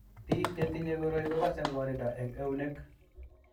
Biko chetinye koroi kokase ng'wanindo eng eunek.